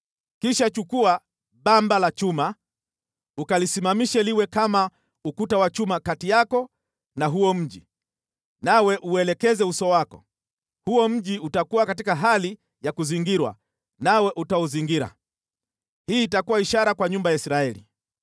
Kisha chukua bamba la chuma, ukalisimamishe liwe kama ukuta wa chuma kati yako na huo mji, nawe uuelekeze uso wako. Huo mji utakuwa katika hali ya kuzingirwa, nawe utauzingira. Hii itakuwa ishara kwa nyumba ya Israeli.